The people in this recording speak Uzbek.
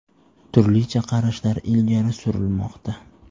Turlicha qarashlar ilgari surilmoqda.